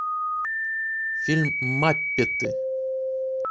фильм маппеты